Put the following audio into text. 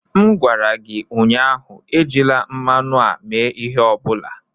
M gwara gị ụnyaahụ, ejila mmanụ a mee ihe ọ bụla!